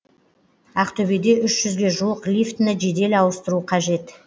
ақтөбеде үш жүзге жуық лифтіні жедел ауыстыру қажет